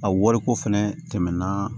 A wariko fɛnɛ tɛmɛnna